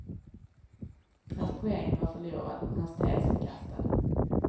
Hans poäng var förlorad, hans tes förkastad.